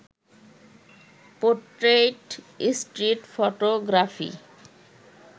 portrait, street photography